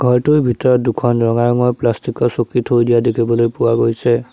ঘৰটোৰ ভিতৰত দুখন ৰঙা ৰঙৰ প্লাষ্টিক ৰ চকী থৈ দিয়া দেখিবলৈ পোৱা গৈছে।